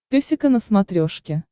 песика на смотрешке